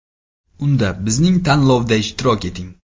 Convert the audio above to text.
Unda bizning tanlovda ishtirok eting!